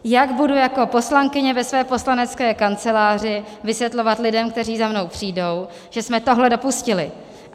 Jak budu jako poslankyně ve své poslanecké kanceláři vysvětlovat lidem, kteří za mnou přijdou, že jsme tohle dopustili?